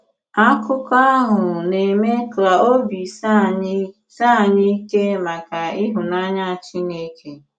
Àkụ̀kọ àhụ na-eme ka òbì s̀ìè ànyị̀ s̀ìè ànyị̀ ìkè maka ịhụnànyà Chìnékè.